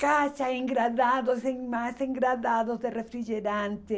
caixas, engradados e mais engradados de refrigerante.